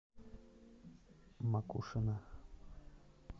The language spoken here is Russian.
макушино